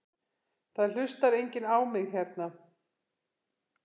Það hlustar enginn á mig hérna.